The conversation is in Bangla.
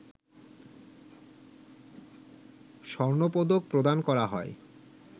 স্বর্ণপদক প্রদান করা হয়